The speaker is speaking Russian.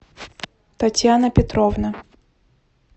татьяна петровна